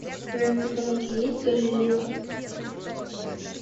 в твоем каталоге есть галилео